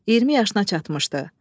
20 yaşına çatmışdı.